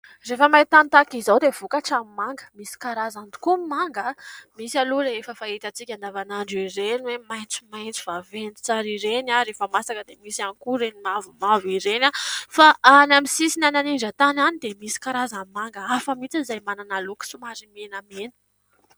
Rehefa maintany tahaka izao dia vokatra ny manga. Misy karazany tokoa ny manga. Misy aloha rehefa fahitantsika andavanandro ireny hoe maitsomaitso vaventy tsara ireny rehefa masaka dia misy ihany koa ireny mavomavo ireny fa any amin'ny sisiny any an'indran-tany any dia misy karazan'ny manga hafa mihitsy izay manana loko somary menamena.